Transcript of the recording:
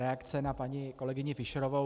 Reakce na paní kolegyni Fischerovou.